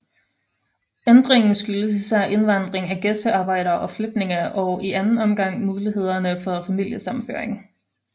Ændringen skyldes især indvandring af gæstearbejdere og flygtninge og i anden omgang mulighederne for familiesammenføring